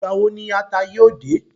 Ìgbà wo ni ata yóò dé?